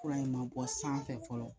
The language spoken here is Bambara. Fura in ma bɔ sanfɛ fɔlɔ